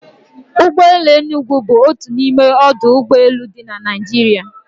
Ụgbọ elu Enugu bụ otu n'ime ọdụ ụgbọ elu dị na Naịjirịa